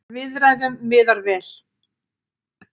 Viðræðum miðar vel